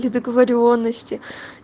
недоговорённости